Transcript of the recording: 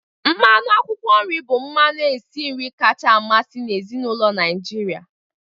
Mmanụ akwụkwọ nri bụ mmanụ esi nri kacha amasị n'ezinụlọ Naijiria.